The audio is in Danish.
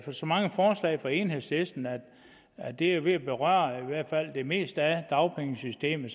så mange forslag fra enhedslisten at det er ved at berøre i hvert fald det meste af dagpengesystemet